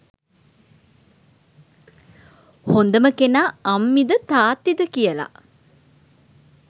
හොඳම කෙනා අම්මිද තාත්තිද කියලා